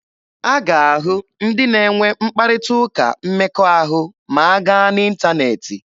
A ga-ahụ ndị na-enwe mkparịta ụka mmekọahụ ma a gaa n'ịntaneetị.